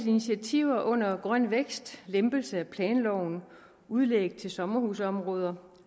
initiativer under grøn vækst lempelse af planloven udlæg til sommerhusområder